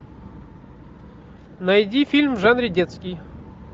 найди фильм в жанре детский